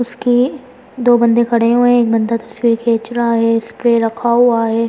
उसके दो बंदे खड़े हुए हैं एक बंदे तस्वीर खींच रहा है स्प्रे रखा हुआ है।